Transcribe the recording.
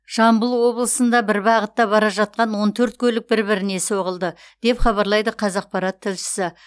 жамбыл облысында бір бағытта бара жатқан он төрт көлік бір біріне соғылды деп хабарлайды қазақпарат тілшісі